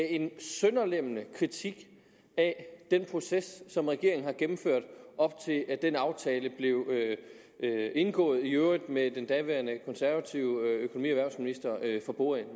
en sønderlemmende kritik af den proces som regeringen har gennemført op til den aftale blev indgået i øvrigt med den daværende konservative økonomi og erhvervsminister for bordenden